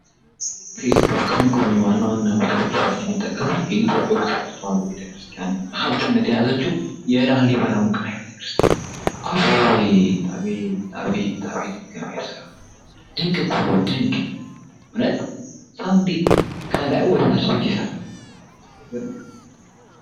ፓስፕሎክሊን ጎበኙ ዋና ዋና ብቶወትወጥ የሚጠቀስፍ የኢቶርስርዋ ቤተክርስቲያን ሀብትነት የያዘችው የእላህ ሊበላው ውቅራይ ቤተክርስቲያን አፍ ጣቤ ጣቤ ጣቤት እግዚአብሔር ሥራ ድንቅ ኩ ድንቅ እውነት ሳውንዴት ከላይ ወደታች ቤት ይሰላልአይገ